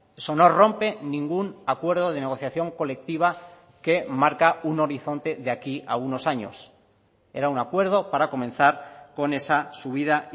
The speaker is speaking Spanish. eso no rompe ningún acuerdo de negociación colectiva que marca un horizonte de aquí a unos años era un acuerdo para comenzar con esa subida